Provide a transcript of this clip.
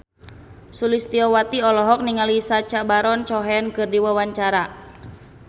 Sulistyowati olohok ningali Sacha Baron Cohen keur diwawancara